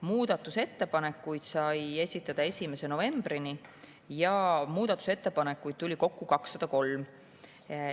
Muudatusettepanekuid sai esitada 1. novembrini ja neid tuli kokku 203.